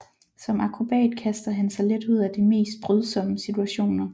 Som akrobat kaster han sig let ud af de mest brydsomme situationer